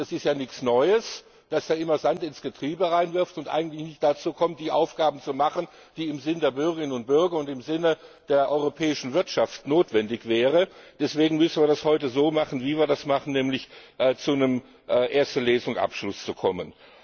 Das ist ja nichts Neues, dass er immer Sand ins Getriebe wirft und eigentlich nicht dazu kommt, die Aufgaben zu machen, die im Sinne der Bürgerinnen und Bürger und im Sinne der europäischen Wirtschaft notwendig wären. Deswegen müssen wir das heute so machen, wie wir es machen, nämlich zu einem Abschluss in erster Lesung zu kommen.